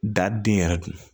Da den yɛrɛ dun